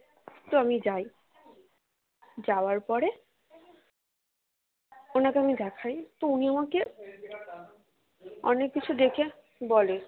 তো আমি যাই যাওয়ার পরে ওনাকে আমি দেখাই তো উনি আমাকে অনেক কিছু দেখে বলে